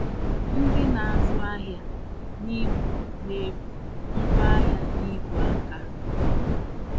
Ndị na-azụ ahịa n'Imo na-ebu ngwaahịa n'ìgwè aka.